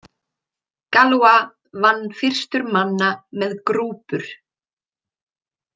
Galois vann fyrstur manna með grúpur.